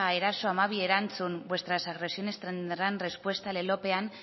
eraso hamabi erantzun vuestras agresiones tendrán respuesta lelopean